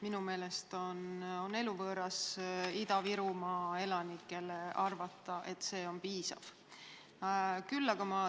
Minu meelest on eluvõõras arvata, et Ida-Virumaa elanike jaoks see on piisav.